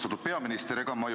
Austatud peaminister!